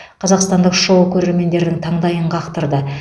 қазақстандық шоу көрермендердің таңдайын қақтырды